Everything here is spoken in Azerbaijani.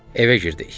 Evə girdik.